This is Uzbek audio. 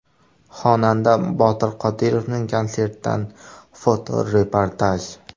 Xonanda Botir Qodirovning konsertidan fotoreportaj.